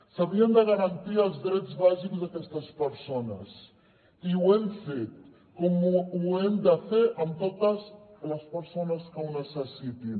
s’havien de garantir els drets bàsics d’aquestes persones i ho hem fet com ho hem de fer amb totes les persones que ho necessitin